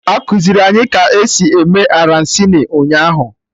E kuziri anyị ka esi eme Arancini ụnyaahụ